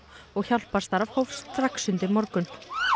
og hjálparstarf hófst strax undir morgun